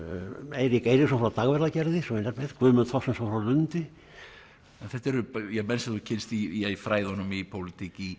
Eirík Eiríksson frá Dagverðargerði Guðmund Þorsteinsson frá Lundi þetta eru menn sem þú kynnst í fræðunum í pólitík í